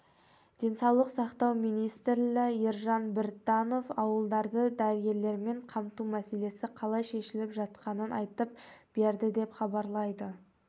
денсаулық сақтау министрі елжан біртанов ауылдарды дәрігерлермен қамту мәселесі қалай шешіліп жатқанын айтып берді деп хабарлайды